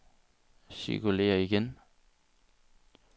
cirkulér igen